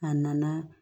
A nana